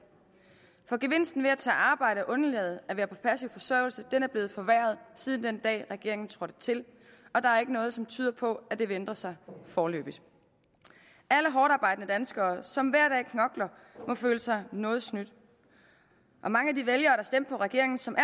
for gevinsten ved at tage arbejde og undlade at være på passiv forsørgelse er blevet forværret siden den dag regeringen trådte til og der er ikke noget som tyder på at det vil ændre sig foreløbig alle hårdtarbejdende danskere som hver dag knokler må føle sig noget snydt mange af de vælgere der stemte på regeringen som